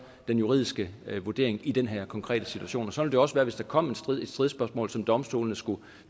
den juridiske vurdering i den her konkrete situation sådan ville det også være hvis der kom et stridsspørgsmål som domstolene skulle